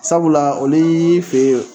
Sabula oli fɛ yen.